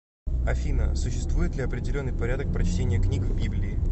афина существует ли определенный порядок прочтения книг в библии